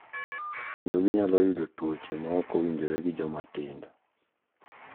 Kendo ginyalo yudo tuoche ma ok owinjore gi jomatindo.